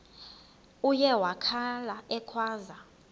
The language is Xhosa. uye wakhala ekhwaza